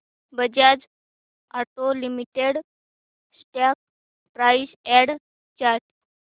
Bajaj auto limited stock price and chart